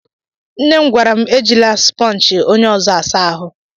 Nne m gwara m ejila supọnji onye ọzọ asa ahụ.